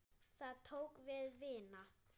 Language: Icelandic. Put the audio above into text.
Þá tók við vinna.